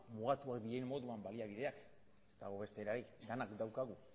mugatuak diren moduan baliabideak ez dago beste erarik denak daukagu